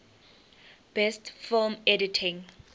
best film editing